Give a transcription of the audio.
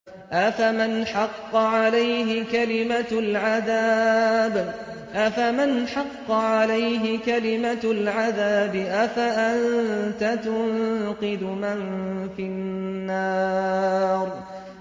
أَفَمَنْ حَقَّ عَلَيْهِ كَلِمَةُ الْعَذَابِ أَفَأَنتَ تُنقِذُ مَن فِي النَّارِ